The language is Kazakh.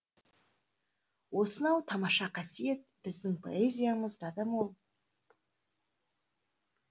осынау тамаша қасиет біздің поэзиямызда да мол